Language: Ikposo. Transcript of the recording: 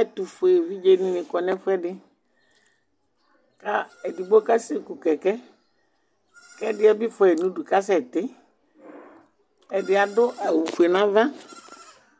ɛtʊfue evidze dɩnɩ kɔ nʊ ɛfʊɛdɩ edigbo kasɛ ku utuvegele, kʊ ɛdɩ yɛ bɩ fua yi nʊ udu kasɛti, ɛdɩ adʊ awu fue nʊ ava,